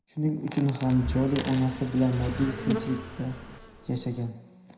Shuning uchun ham Joli onasi bilan moddiy qiyinchilikda yashagan.